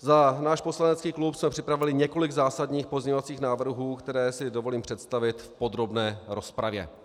Za náš poslanecký klub jsme připravili několik zásadních pozměňovacích návrhů, které si dovolím představit v podrobné rozpravě.